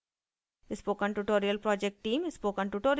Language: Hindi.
spoken tutorial project team